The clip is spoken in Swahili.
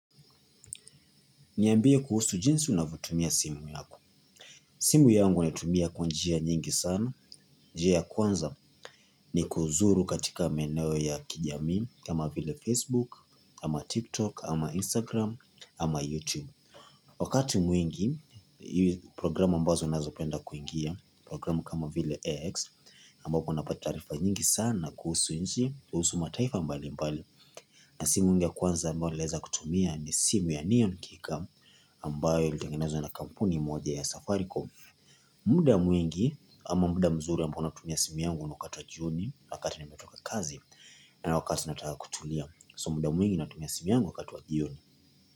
Niambie kuhusu jinsi unavyotumia simu yako. Simu yangu naitumia kwa njia nyingi sana. Njia ya kwanza ni kuzuru katika meneo ya kijamii kama vile Facebook, ama TikTok, ama Instagram, ama YouTube. Wakati mwingi, hii programu ambazo nazopenda kuingia, programu kama vile X, ambapo unapata taarifa nyingi sana kuhusu nchi, kuhusu mataifa mbali mbali. Na simu yangu ya kwanza ambayo nileza kutumia ni simu ya neon kika ambayo ilitengenezwa na kampuni moja ya safaricom. Muda mwingi ama muda mzuri ambayo natumia simu yangu ni wakati wa jioni wakati nimetoka kazi na wakati nataka kutulia so muda mwingi natumia simu yangu wakati wa jioni.